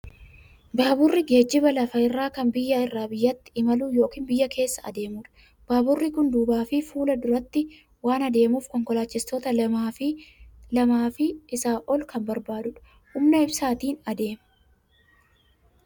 Baaburri geejjiba lafa irraa kan biyya irraa biyyatti imalu yookiin biyya keessa adeemudha. Baaburri kun duubaa fi fuula duratti waan adeemuuf konkolaachistoota lamaa fi lamaa ol kan barbaadudha. Humna ibsaatiin adeema.